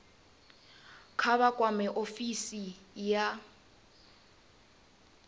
kha vha kwame ofisi ya